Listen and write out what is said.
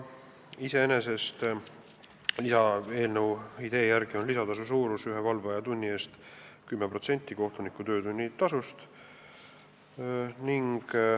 Iseenesest on eelnõu idee järgi lisatasu suurus ühe valveaja tunni eest 10% kohtuniku töötunni tasust.